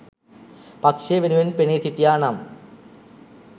පක්‍ෂය වෙනුවෙන් පෙනී සිටියා නම්?